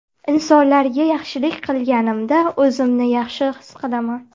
Insonlarga yaxshilik qilganimda, o‘zimni yaxshi his qilaman.